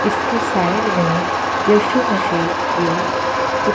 इसके साइड में यीशु मसीह के चित--